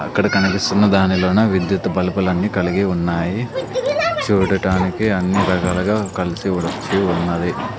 అక్కడ కనిపిస్తున్న దానిలోన విద్యుత్ బల్బులన్నీ కలిగి ఉన్నాయి చూడటానికి అన్నీ రకాలుగా కలిసి వచ్చి ఉన్నది.